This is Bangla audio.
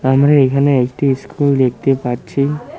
আমরা এখানে একটি স্কুল দেখতে পাচ্ছি।